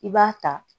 I b'a ta